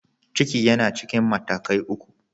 Ciki yana cikin matakai uku.